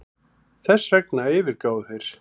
Þessvegna yfirgáfu þeir